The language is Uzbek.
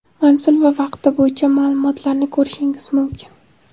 manzil va vaqti bo‘yicha ma’lumotlarni ko‘rishingiz mumkin.